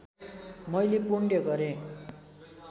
मैले पुण्य गरेँ